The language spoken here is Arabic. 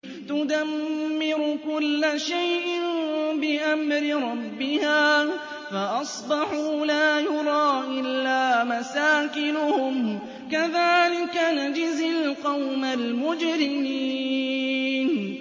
تُدَمِّرُ كُلَّ شَيْءٍ بِأَمْرِ رَبِّهَا فَأَصْبَحُوا لَا يُرَىٰ إِلَّا مَسَاكِنُهُمْ ۚ كَذَٰلِكَ نَجْزِي الْقَوْمَ الْمُجْرِمِينَ